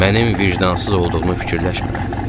Mənim vicdansız olduğumu fikirləşmə.